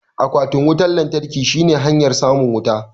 Akwatin wutan lantarkin shine hanyar samun wuta